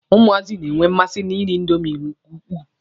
Ụmụazị na-enwe mmasi na iri indomi nke ukwuu.